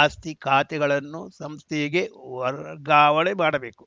ಆಸ್ತಿ ಖಾತೆಗಳನ್ನು ಸಂಸ್ಥೆಗೆ ವರ್ಗಾವಣೆ ಮಾಡಬೇಕು